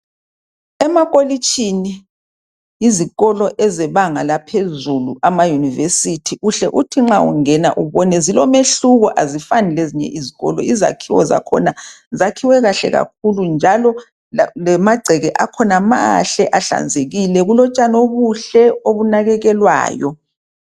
Emakolitshini izikolo ezebanga laphezulu, amaYunivesithi uhle uthi nxa ungena ubone zilomehluko azifani lezinye izikolo. Izakhiwo zakhona zakhiwe kahle kakhulu njalo lamangceke akhona mahle ahlanzekile kulotshani obuhle obunakekelwayo.